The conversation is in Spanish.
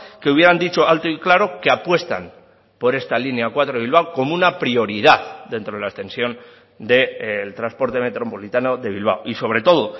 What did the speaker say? que hubieran dicho alto y claro que apuestan por esta línea cuatro de bilbao como una prioridad dentro de la extensión del transporte metropolitano de bilbao y sobre todo